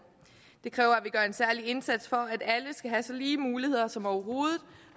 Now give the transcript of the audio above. det kræver at vi gør en særlig indsats for at alle skal have så lige muligheder som overhovedet